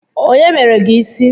Onye mere gị ịsị?